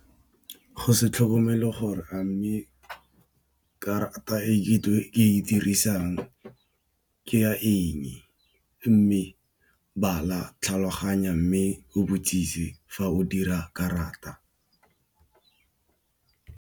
Go se tlhokomele gore a mme karata e ke e dirisang ke ya eng. Mme bala, tlhaloganya. Mme o botsise fa o dira karata.